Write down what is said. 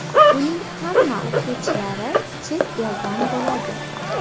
Uning hamma o‘qituvchilari chet eldan bo‘ladi .